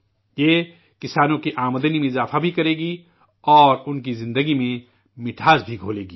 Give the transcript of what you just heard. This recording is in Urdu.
یہ کسانوں کی آمدنی بھی بڑھائے گا اور ان کی زندگی میں مٹھاس بھی گھولے گا